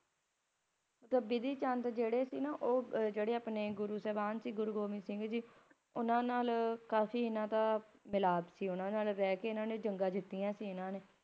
ਬਿਧੀ ਚੰਦ ਜਿਹੜੇ ਸੀ ਤਾਂ ਉਹ ਆਪਣੇ ਗੁਰੂ ਸਾਹਿਬਾਨ ਸੀ ਗੁਰੂ ਗੋਬਿੰਦ ਸਿੰਘ ਜੀ ਉਨ੍ਹਾਂ ਨਾਲ ਇਨ੍ਹਾਂ ਦਾ ਕਾਫ਼ੀ ਮਿਲਾਪ ਸੀ। ਉਹਨਾਂ ਨਾਲ ਰਹਿ ਕੇ ਇਹਨਾਂ ਨੇ ਕਾਫੀ ਜੰਗਾ ਜਿੱਤਿਆ ਸੀ, ਇਹਨਾਂ ਨੇ